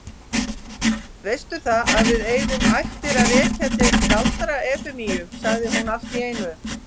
Veistu það, að við eigum ættir að rekja til Galdra-Efemíu, sagði hún allt í einu.